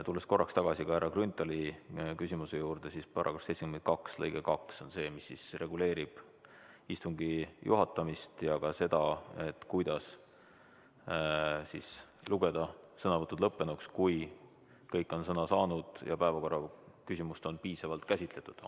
Tulles korraks tagasi härra Grünthali küsimuse juurde, siis § 72 lõige 2 on see, mis siis reguleerib istungi juhatamist ja seda, kuidas lugeda sõnavõtud lõppenuks, kui kõik on sõna saanud ja päevakorraküsimust on piisavalt käsitletud.